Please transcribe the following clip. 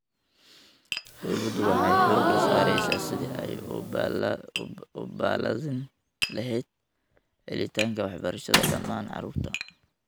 Dawladdu waxay xooga saaraysaa sidii ay u balaadhin lahayd helitaanka waxbarashada dhammaan carruurta.